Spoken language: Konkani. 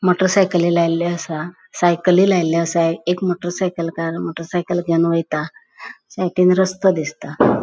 मोटर साइकली लायिल्लो असा. साइकली लायिल्लो असा. एक मोटर साइकलकार मोटर साइकल घेऊन वयता साईडीन रोस्तो दिसता.